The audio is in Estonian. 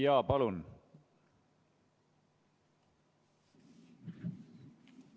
Jaa, palun!